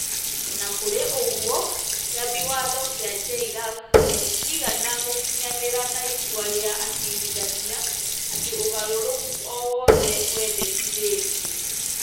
O na kũrĩ ũguo, Kĩambi Watho kĩa JLAC gĩtiigana gũkinyanĩra na itua rĩa acirithania atĩ ũgarũrũku o wothe wendekithetio,